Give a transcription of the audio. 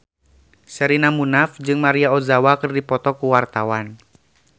Sherina Munaf jeung Maria Ozawa keur dipoto ku wartawan